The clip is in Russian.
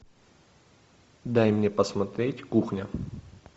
дай мне посмотреть кухня